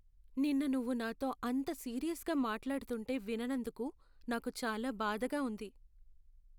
నిన్న నువ్వు నాతో అంత సీరియస్గా మాట్లాడుతుంటే విననందుకు నాకు చాలా బాధగా ఉంది.